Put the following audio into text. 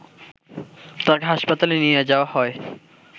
তাকে হাসপাতালে নিয়ে যাওয়া হয়